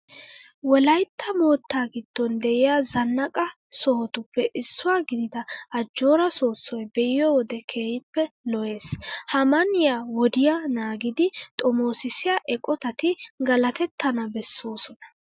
Wolaytta moottaa giddon de'iya zannaqa sohotuppe issuwa gidida ajjooraa soossoy be'iyo wode keehippe lo"ees. Ha man"iya wodiya naagidi xomoosissiya eqotati galatettana bessoosona.